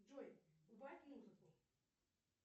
джой убавь музыку